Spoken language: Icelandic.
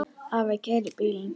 Afi keyrir bílinn.